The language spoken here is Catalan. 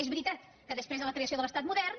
és veritat que després de la creació de l’estat modern